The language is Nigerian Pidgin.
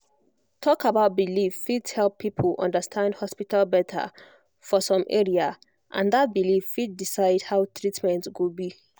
talk about belief fit help people understand hospital better for some area and that belief fit decide how treatment go be